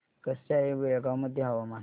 कसे आहे बेळगाव मध्ये हवामान